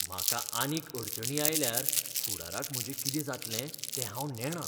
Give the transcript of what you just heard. म्हाका आनीक अडचणी आयल्यार फुडाराक म्हजें कितें जातलें तें हांव नेणां.